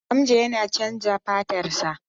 Hamza yana chanza fatarsa.